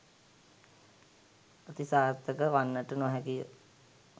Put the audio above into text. අතිසාර්ථක වන්නට නොහැකිය.